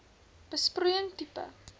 besproeiing tipe